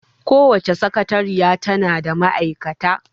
Kowace sakateriya tana da ma'aikata